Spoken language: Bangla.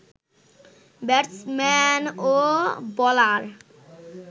ব্যাটসম্যান ও বোলার